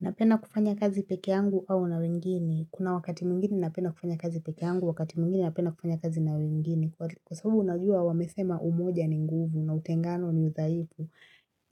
Napenda kufanya kazi pekeyangu au na wengine. Kuna wakati mwingine napenda kufanya kazi pekeyangu wakati mwingine napenda kufanya kazi na wengine. Kwa sababu unajua wamesema umoja ni nguvu na utengano ni udhaifu